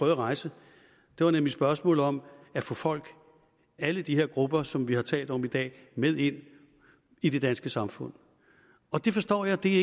rejse nemlig spørgsmålet om at få folk alle de her grupper som vi har talt om i dag med ind i det danske samfund og det forstår jeg er